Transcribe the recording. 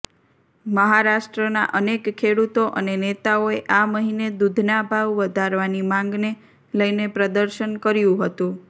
મહારાષ્ટ્રના અનેક ખેડૂતો અને નેતાઓએ આ મહિને દૂધના ભાવ વધારવાની માંગને લઇને પ્રદર્શન કર્યું હતું